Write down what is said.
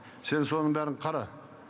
сен соның бәрін қара